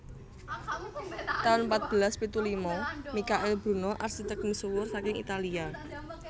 taun patbelas pitu lima Mikail Buno arsitek misuwur saking Italia